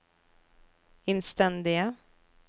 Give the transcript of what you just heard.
innstendige